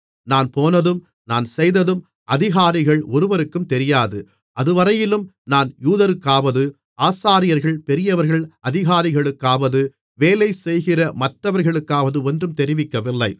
நான் போனதும் நான் செய்ததும் அதிகாரிகள் ஒருவருக்கும் தெரியாது அதுவரையிலும் நான் யூதருக்காவது ஆசாரியர்கள் பெரியவர்கள் அதிகாரிகளுக்காவது வேலைசெய்கிற மற்றவர்களுக்காவது ஒன்றும் தெரிவிக்கவில்லை